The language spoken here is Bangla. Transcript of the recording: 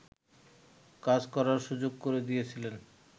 কাজ করার সুযোগ করে দিয়েছিলেন